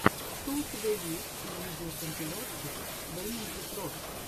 что у тебя есть из видеокомпиляций бимэнджи про